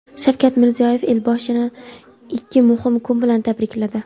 Shavkat Mirziyoyev Elboshini ikki muhim kun bilan tabrikladi.